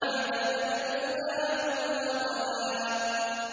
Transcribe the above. مَا كَذَبَ الْفُؤَادُ مَا رَأَىٰ